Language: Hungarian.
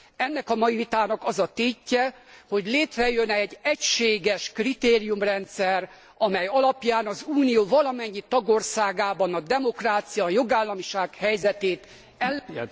Ennek a mai vitának az a tétje, hogy létrejöjjön egy egységes kritériumrendszer, amely alapján az Unió valamennyi tagországában a demokrácia, a jogállamiság helyzetét el...